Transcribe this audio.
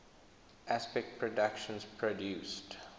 aspect productions produced